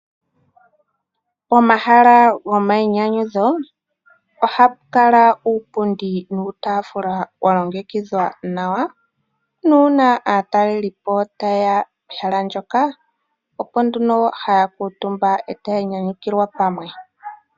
Pomahala gomainyanyudho, ohapu kala uupundi nuutafula walongekidhwa nawa, nuuna aatalelipo tayeya pehala ndyoka, opo nduno haya kuuntumba, e taya nyanyukilwa pamwe.